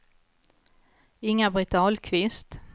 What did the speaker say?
Inga-Britt Ahlqvist